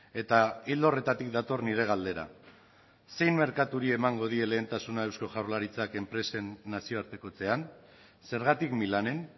eta ildo horretatik dator nire galdera zein merkaturi emango die lehentasuna eusko jaurlaritzak enpresen nazioartekotzean zergatik milanen